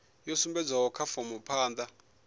yo sumbedzwaho kha fomo phanda